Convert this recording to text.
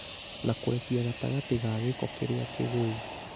na kũrekia gatagatĩ ka gĩko kĩrĩa kĩgũu